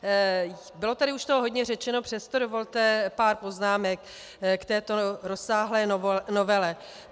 Bylo tady toho už hodně řečeno, přesto dovolte pár poznámek k této rozsáhlé novele.